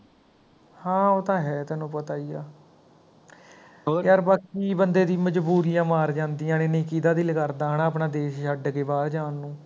ਹਾਂ ਉਹ ਤਾਂ ਹੈ ਤੈਨੂੰ ਪਤਾ ਹੀ ਹੈ ਯਾਰ ਬਾਕੀ ਬੰਦੇ ਦੀ ਮਜਬੂਰੀਆਂ ਮਾਰ ਜਾਂਦੀਆ ਨੇ, ਨਹੀਂ ਕੀਦਾਂ ਦਿਲ ਕਰਦਾ ਹੈ ਨਾ ਆਪਣਾ ਦੇਸ਼ ਛੱਡ ਕੇ ਬਾਹਰ ਜਾਣ ਨੂੰ